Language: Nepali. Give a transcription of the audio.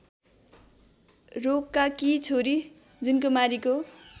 रोकाकी छोरी जुनकुमारीको